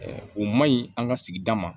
o man ɲi an ka sigida ma